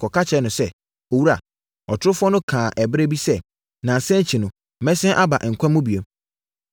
kɔka kyerɛɛ no sɛ, “Owura, ɔtorofoɔ no kaa ɛberɛ bi sɛ, ‘Nnansa akyi no, mɛsane aba nkwa mu bio.’